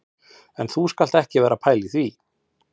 En þú skalt ekki vera að pæla í því